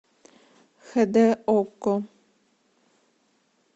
хд окко